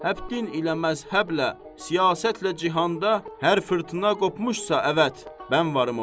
Həddin ilə məzhəblə, siyasətlə cihanda, hər fırtına qopmuşsa əvət, mən varım orda.